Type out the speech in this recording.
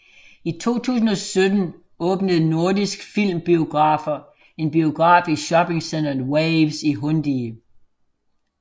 I 2017 åbnede Nordisk Film Biografer en biograf i shoppingcentret Waves i Hundige